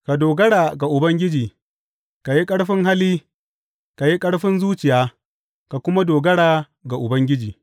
Ka dogara ga Ubangiji, ka yi ƙarfin hali ka yi ƙarfin zuciya ka kuma dogara ga Ubangiji.